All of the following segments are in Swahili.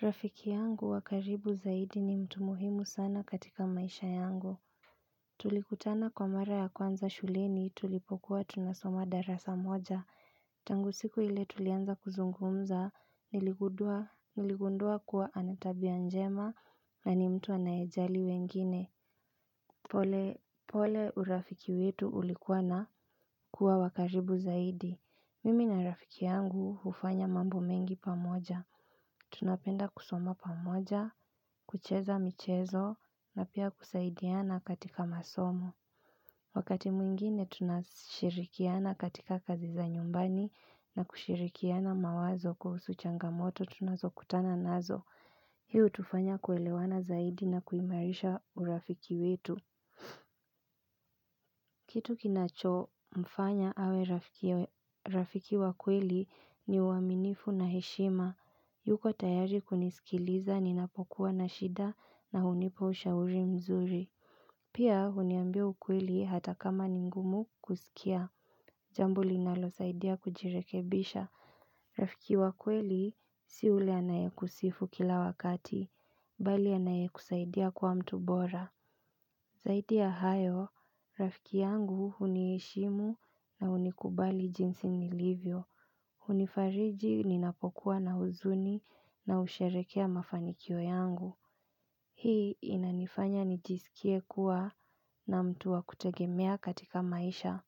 Rafiki yangu wa karibu zaidi ni mtu muhimu sana katika maisha yangu. Tulikutana kwa mara ya kwanza shuleni tulipokuwa tunasoma darasa moja. Tangu siku ile tulianza kuzungumza niligundua niligundua kuwa ana tabia njema na ni mtu anayejali wengine. Pole urafiki wetu ulikuwa na kuwa wa karibu zaidi. Mimi na rafiki yangu hufanya mambo mengi pamoja. Tunapenda kusoma pamoja, kucheza michezo na pia kusaidiana katika masomo. Wakati mwingine tunashirikiana katika kazi za nyumbani na kushirikiana mawazo kuhusu changamoto tunazokutana nazo. Hii hutufanya kuelewana zaidi na kuimarisha urafiki wetu. Kitu kinachomfanya awe rafiki wa kweli ni uaminifu na heshima yuko tayari kunisikiliza ninapokuwa na shida na hunipa ushauri mzuri. Pia huniambia ukweli hata kama ni ngumu kusikia. Jambo linalosaidia kujirekebisha rafiki wa kweli si yule anayekusifu kila wakati bali anayekusaidia kuwa mtu bora. Zaidi ya hayo, rafiki yangu huniheshimu na hunikubali jinsi nilivyo. Hunifariji ninapokuwa na huzuni na husherekea mafanikio yangu. Hii inanifanya nijisikie kuwa na mtu wa kutegemea katika maisha.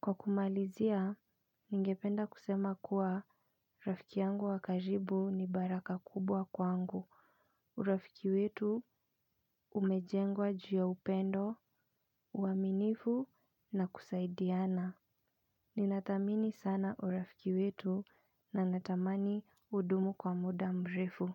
Kwa kumalizia, ningependa kusema kuwa rafiki yangu wa karibu ni baraka kubwa kwangu. Urafiki wetu umejengwa juu ya upendo, uaminifu na kusaidiana. Ninathamini sana urafiki wetu na natamani udumu kwa muda mrefu.